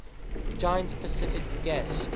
giant pacific gas